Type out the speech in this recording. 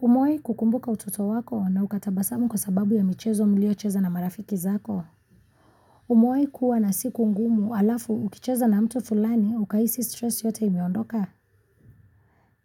Umewahi kukumbuka utoto wako na uka tabasamu kwa sababu ya michezo mliocheza na marafiki zako. Umewahi kuwa na siku ngumu alafu ukicheza na mtu fulani ukahisi stress yote imeondoka.